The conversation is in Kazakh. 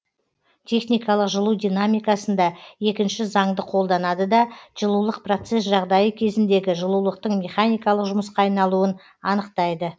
техникалық жылу динамикасында екінші заңды қолданады да жылулық процесс жағдайы кезіндегі жылулықтың механикалық жұмысқа айналуын анықтайды